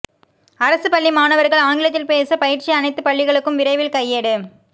அரசு பள்ளி மாணவர்கள் ஆங்கிலத்தில் பேச பயிற்சி அனைத்து பள்ளிகளுக்கும் விரைவில் கையேடு